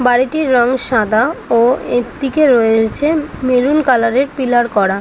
বাড়িটির রং সাদা ও এক দিকে রয়েছে মেরুন কালার -এর পিলার করা।